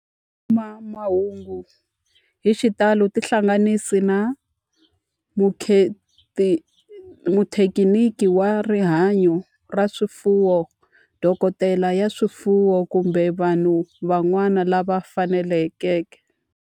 Ku kuma mahungu hi xitalo tihlanganisi na muthekiniki wa rihanyo ra swifuwo, dokodela ya swifuwo, kumbe vanhu van'wana lava fanelekeke.